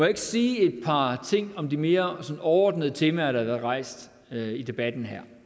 ikke sige et par ting om de mere overordnede temaer der har været rejst i debatten her